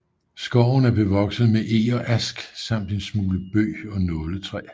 Skoven er bevokset med eg og ask samt en smule bøg og nåletræ